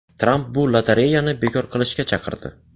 Tramp bu lotereyani bekor qilishga chaqirdi.